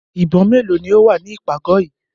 Ìbọn mélòó ni ó wà ní ìpàgọ̀ yìí?